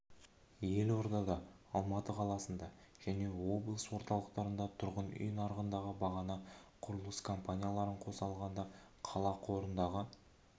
елордада алматы қаласында және облыс орталықтарында тұрғын үй нарығындағы бағаны құрылыс компанияларын қоса алғанда қала қорындағы